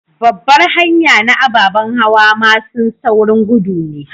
Babbar hanya na ababan hawa masun saurin gudu ne.